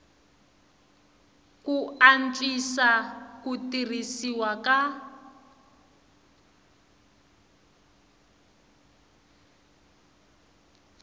ku antswisa ku tirhisiwa ka